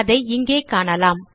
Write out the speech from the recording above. அதை இங்கே காணலாம்